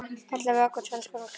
Ellefu egg og tvenns konar krem.